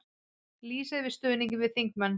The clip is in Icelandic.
Lýsa yfir stuðningi við þingmenn